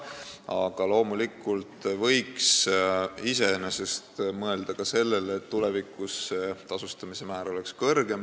Aga loomulikult võiks mõelda ka sellele, et tulevikus oleks tasustamise määr kõrgem.